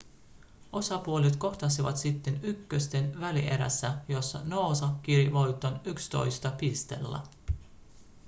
osapuolet kohtasivat sitten ykkösten välierässä jossa noosa kiri voittoon 11 pisteellä